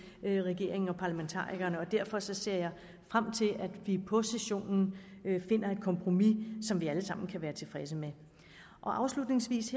regeringen og parlamentarikerne og derfor ser jeg frem til at vi på sessionen finder et kompromis som vi alle sammen kan være tilfredse med afslutningsvis